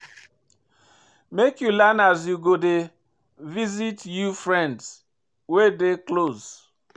Make you learn as you go dey visit you friends wey dey live close.